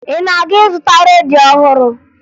Ị na-aga ịzụta redio ọhụrụ?